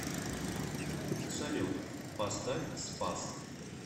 салют поставь спас